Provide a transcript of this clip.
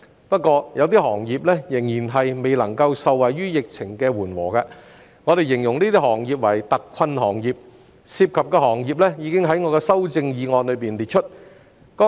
不過，有部分行業仍然未能夠受惠於疫情的緩和，我們形容這些行業為特困行業，涉及的行業已在我的修正案中列出。